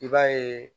I b'a yeee